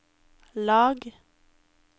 lag